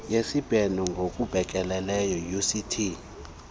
yezibheno ngobekekileyo uct